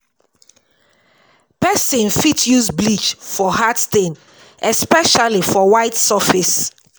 Person fit use bleach for hard stain especially for white surface